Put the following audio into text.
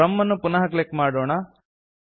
from ಅನ್ನು ಪುನಃ click ಮಾಡೋಣ